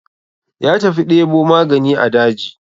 Ya tafi ɗebo magani a daji.